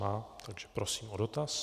Má, takže prosím o dotaz.